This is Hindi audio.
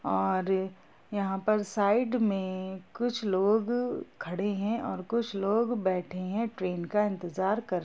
और यहाँ पर साइड में कुछ लोग खड़े है और कुछ लोग बेठे है ट्रेन का इंतजार कर --